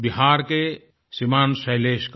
बिहार के श्रीमान शैलेश का